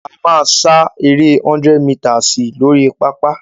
A máa sá eré 100 mítasì lórí pápá.